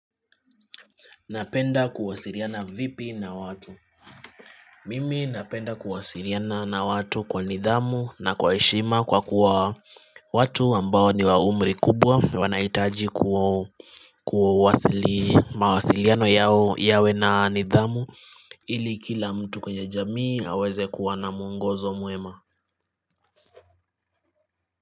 Napenda kuwasiliana vipi na watu Mimi napenda kuwasiliana na watu kwa nidhamu na kwa heshima kwa kuwa watu ambao ni wa umri kubwa wanahitaji mawasiliano yawe na nidhamu ili kila mtu kwenye jamii aweze kuwa na mwongozo mwema.